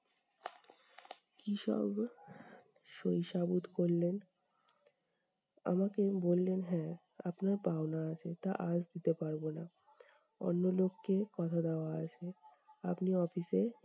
কী সব সই সাবুত করলেন আমাকে বললেন- হ্যা, আপনার পাওনা আছে তা আজ দিতে পারবো না। অন্য লোককে কথা দেওয়া আছে, আপনি office এ